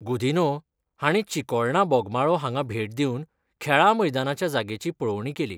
गुदिन्हो हांणी चिकोळणा बोगमाळो हांगा भेट दिवन खेळां मैदानाच्या जागेची पळोवणी केली.